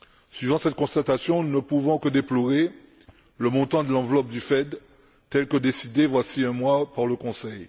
Suivant cette constatation, nous ne pouvons que déplorer le montant de l'enveloppe du FED, tel que décidé voici un mois par le Conseil.